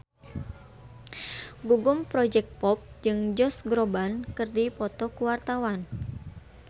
Gugum Project Pop jeung Josh Groban keur dipoto ku wartawan